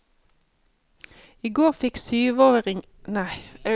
I går fikk syvåringene prøve seg som journalister i avishuset.